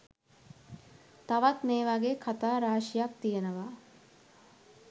තවත් මේ වගේ කතා රාශියක් තියෙනවා.